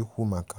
ikwụ maka.